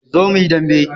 Zo muyi dambe